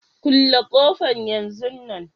Kulle kofan yanzun nan.